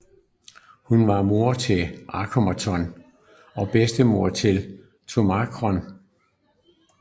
Hun var mor til Akhnaton og bedstemor til Tutankhamon